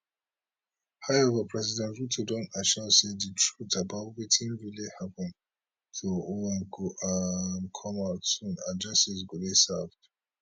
however president ruto don assure say di truth about wetin really happun to ojwang go um come out soon and justice go dey served